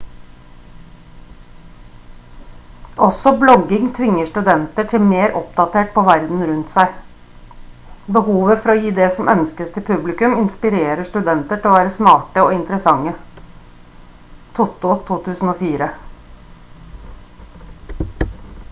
også blogging «tvinger studenter til å bli mer oppdatert på verden rundt seg». behovet for å gi det som ønskes til publikumet inspirerer studenter til å være smarte og interessante toto 2004